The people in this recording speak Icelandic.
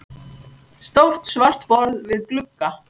Stórt svart borð við glugga.